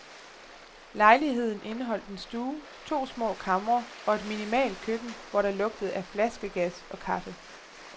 Lejligheden indeholdt en stue, to små kamre og et minimalt køkken, hvor der lugtede af flaskegas og kaffe.